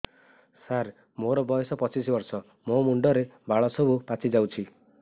ସାର ମୋର ବୟସ ପଚିଶି ବର୍ଷ ମୋ ମୁଣ୍ଡରେ ବାଳ ସବୁ ପାଚି ଯାଉଛି